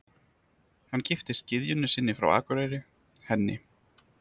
Hann giftist gyðjunni sinni frá Akureyri, henni